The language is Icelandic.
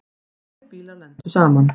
Tveir bílar lentu saman.